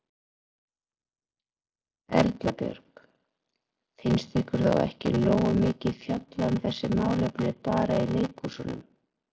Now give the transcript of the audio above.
Erla Björg: Finnst ykkur þá ekki nógu mikið fjallað um þessi málefni bara í leikhúsunum?